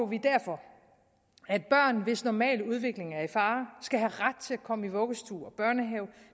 vi derfor at børn hvis normale udvikling er i fare skal have ret til at komme i vuggestue og børnehave